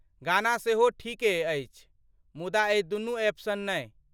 गाना सेहो ठीके अछि मुदा एहि दुनू एप सन नहि।